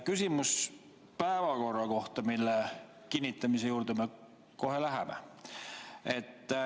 Küsimus on päevakorra kohta, mille kinnitamise juurde me kohe läheme.